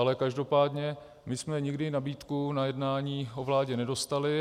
Ale každopádně my jsme nikdy nabídku na jednání o vládě nedostali.